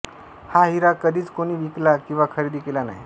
हा हिरा कधीच कोणी विकला किवा खरेदी केला नाही